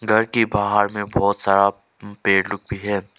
घर के बाहर में बहोत सारा पेड़ लोग भी है।